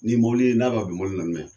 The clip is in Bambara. Ni mɔlen n'a ka be